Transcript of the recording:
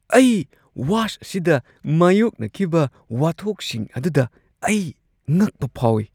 ꯑꯩ ꯋꯥꯁ ꯑꯁꯤꯗ ꯃꯥꯌꯣꯛꯅꯈꯤꯕ ꯋꯥꯊꯣꯛꯁꯤꯡ ꯑꯗꯨꯗ ꯑꯩ ꯉꯛꯄ ꯐꯥꯎꯏ꯫